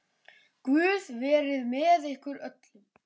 Guð verið með ykkur öllum.